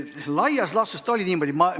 Laias laastus see niimoodi oli.